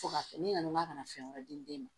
Fo ka fɛn ne nana n ka ka na fɛn wɛrɛ di den ma